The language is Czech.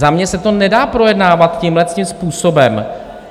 Za mě se to nedá projednávat tímhletím způsobem.